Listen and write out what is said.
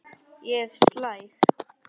Ég er slæg.